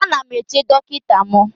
Ana m eche dọkịta m